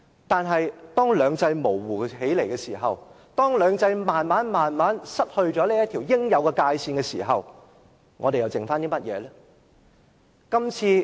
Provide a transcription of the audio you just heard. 可是，當兩制模糊起來，當兩制漸漸失去這條應有的界線時，我們又剩餘甚麼呢？